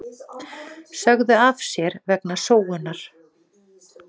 Sögðu af sér vegna sóunar